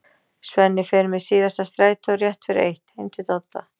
Svenni fer með síðasta strætó, rétt fyrir eitt, heim til Dodda.